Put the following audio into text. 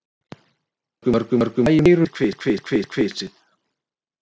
Mörgum klæjar eyrun við kvisið.